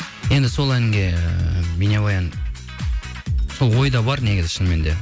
енді сол әнге бейнебаян сол ойда бар негізі шынымен де